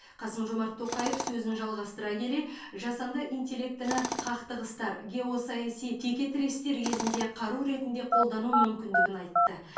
қасым жомарт тоқаев сөзін жалғастыра келе жасанды интеллектіні қақтығыстар геосаяси текетірестер кезінде қару ретінде қолдану мүмкіндігін айтты